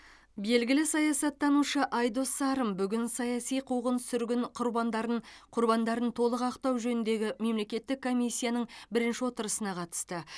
белгілі саясаттанушы айдос сарым бүгін саяси қуғын сүргін құрбандарын құрбандарын толық ақтау жөніндегі мемлекеттік комиссияның бірінші отырысына қатысты